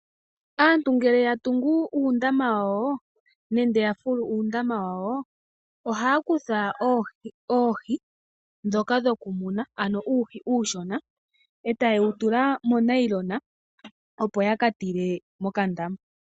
Aantu ngele yatungu nenge yafulu uundama wawo, ohaya kutha oohi ndhoka dhokumuna, ano uuhi uushona, e taye dhitula monayilona, opo yaka tule mokandama.